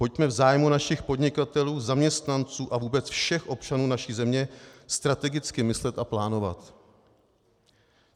Pojďme v zájmu našich podnikatelů, zaměstnanců a vůbec všech občanů naší země strategicky myslet a plánovat.